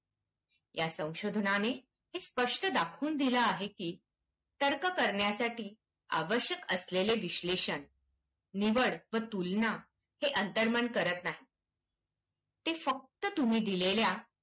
या संशोधनाने हे स्पष्ट दाखवून दिलं आहे की, तर्क करण्यासाठी आवश्यक असलेले विश्लेषण, निवड व तुलना हे अंतर्मन करत नाही. ते फक्त तुम्ही दिलेल्या